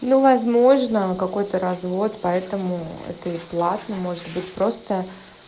ну возможно какой-то развод поэтому это и платно может быть просто